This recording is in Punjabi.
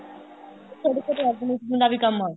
ਤੁਹਾਡੇ ਕੋਲ ਦਾ ਵੀ ਕੰਮ ਆ